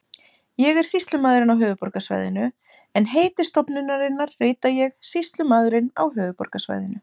Ég er sýslumaðurinn á höfuðborgarsvæðinu en heiti stofnunarinnar rita ég Sýslumaðurinn á höfuðborgarsvæðinu.